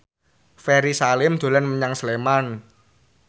Ferry Salim dolan menyang Sleman